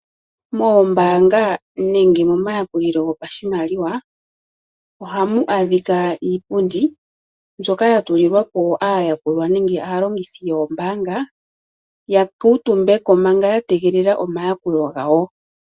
Mombaanga nenge momayakulilo gopashimaliwa ohamu adhika iipundi mbyoka yatulilwapo aayakulwa nenge aalongithi yombaanga yakuutumbeko manga yategelela omayakulo gawo.